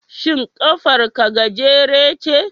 Shin kafar ka gajere ce?